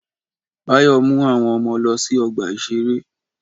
Báyọ̀ mú àwọn ọmọ lọ sí ọgbà-ìṣeré